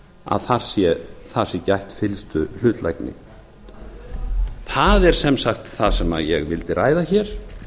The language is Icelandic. að þar sé gætt fyllstu hlutlægni það er sem sagt það sem ég vildi ræða hér